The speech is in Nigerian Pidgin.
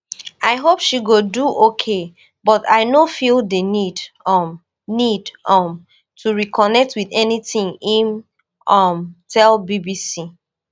i hope she go do ok but i no feel di need um need um to reconnect wit anything im um tell bbc